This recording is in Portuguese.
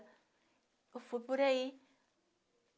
Eu fui por aí.